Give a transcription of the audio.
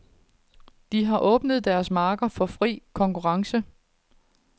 De har åbnet deres markeder for fri konkurrence.